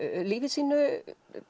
lífi sínu